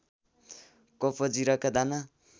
cup जिराका दाना